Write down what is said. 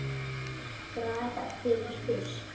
Graf fyrir fisk.